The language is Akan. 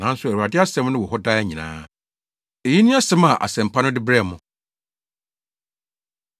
nanso Awurade asɛm no wɔ hɔ daa nyinaa.” Eyi ne asɛm a Asɛmpa no de brɛɛ mo.